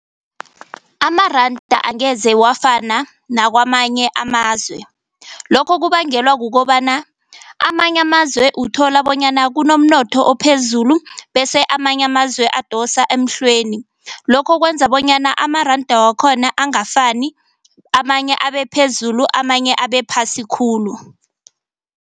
Amaranda angeze awfana nakwamanye amazwe. Lokho kubangelwa kukobana amanye amazwe uthola bonyana kunomnotho ophezulu bese amanye amazwe abadosa emhlweni. Lokho kwenza bonyana amaranda wakhona angafani amanye abe phezulu amanye abe phasi khulu.